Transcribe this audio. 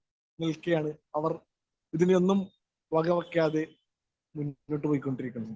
Speaker 1 നില്‍ക്കയാണ്‌. അവര്‍ ഇതിനെയൊന്നും വകവയ്ക്കാതെ മുന്നോട്ടു പൊയ്ക്കൊണ്ടിരിക്കുന്നു.